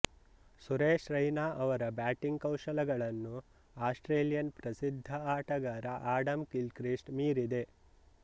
ಸುರೇಶ್ ರೈನಾ ಅವರ ಬ್ಯಾಟಿಂಗ್ ಕೌಶಲಗಳನ್ನು ಆಸ್ಟ್ರೇಲಿಯನ್ ಪ್ರಸಿದ್ಧ ಆಟಗಾರ ಆಡಮ್ ಗಿಲ್ಕ್ರಿಸ್ಟ್ ಮೀರಿದೆ